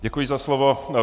Děkuji za slovo.